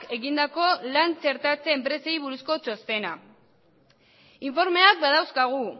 egindako lan txertatze enpresei buruzko txostena informeak badauzkagu